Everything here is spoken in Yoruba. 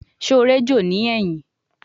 Ṣe o ejò ni ẹhin ẹhin?